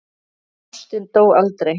En ástin dó aldrei.